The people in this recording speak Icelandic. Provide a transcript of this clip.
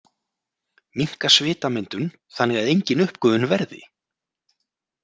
Minnka svitamyndun þannig að engin uppgufun verði.